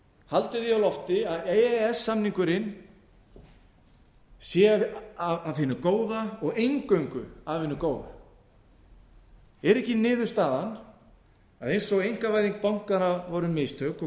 haldið því á lofti að e e s samningurinn sé af hinu góða og eingöngu af hinu góða er ekki niðurstaðan að eins og einkavæðing bankanna voru mistök og